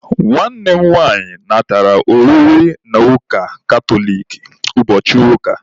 Nwanne m nwaanyị natara oriri na ụka katoliki ụbọchị ụka.